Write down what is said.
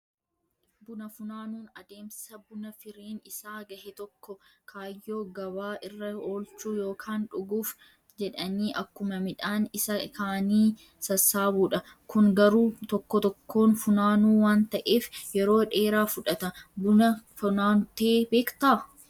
Buna funaanuun adeemsa buna firiin isaa gahe tokko kaayyoo gabaa irra oolchuu yookaan dhuguuf jedhanii akkuma midhaan isa kaanii sassaabuudha. Kun garuu tokko tokkoon funaanuu waan ta'eef, yeroo dheeraa fudhata. Buna funaantee beektaa?